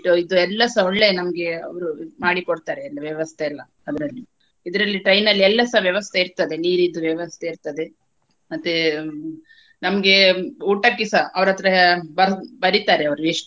ಇದು ಎಲ್ಲಸ ಒಳ್ಳೆ ನಮ್ಗೆ ಅವ್ರು ಇದು ಮಾಡಿ ಕೊಡ್ತಾರೆ ಎಲ್ಲ ವ್ಯವಸ್ಥೆಯೆಲ್ಲ ಅದ್ರಲ್ಲಿ ಇದ್ರಲ್ಲಿ train ಅಲ್ಲಿ ಎಲ್ಲಸ ವ್ಯವಸ್ಥೆ ಇರ್ತದೆ ನೀರಿದ್ದು ವ್ಯವಸ್ಥೆ ಇರ್ತದೆ ಮತ್ತೆ ನಮ್ಗೆ ಊಟಕ್ಕೆಸ ಅವ್ರ ಹತ್ರ ಬರ್~ ಬರಿತಾರೆ ಅವ್ರು ಎಷ್ಟು.